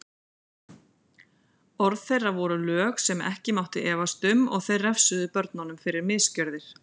Orð þeirra voru lög sem ekki mátti efast um og þeir refsuðu börnunum fyrir misgjörðir.